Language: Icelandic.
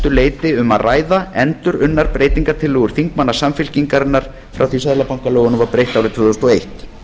leyti um að ræða endurunnar breytingartillögur þingmanna samfylkingarinnar frá því að seðlabankalögunum var breytt árið tvö þúsund og eitt